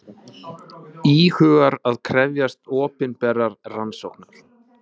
Nokkur dæmi um mismunandi gerðir dýrafrumna.